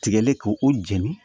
Tigɛli k'o o jɛni